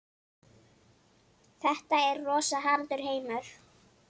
Þetta er rosa harður heimur.